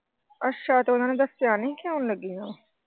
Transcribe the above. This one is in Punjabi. ਅੱਛਾ ਤੇ ਓਹਨਾ ਨੇ ਦੱਸਿਆ ਨਹੀਂ ਕਿ ਆਉਣ ਲੱਗੇ ਆਂ ।